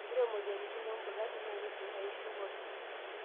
Ore moyiaritin embulati naa keidim aishiu oopeny.